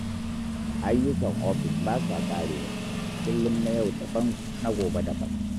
Ayyukan ofis ba sa ƙarewa, kullum na yau daban na gobe daban.